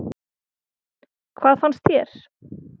Hvað fannst þér?